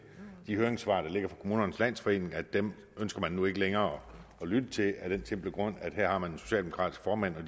de høringssvar der ligger fra kommunernes landsforening at dem ønsker man nu ikke længere at lytte til af den simple grund at man her har en socialdemokratisk formand og at